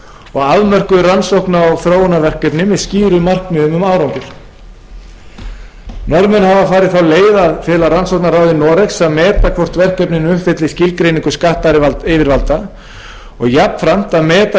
og afmörkuð rannsókna og þróunarverkefni með skýrum markmiðum um árangur norðmenn hafa farið þá leið að fela rannsóknarráði noregs að meta hvort verkefnin uppfylli skilgreiningu skattyfirvalda og jafnframt að meta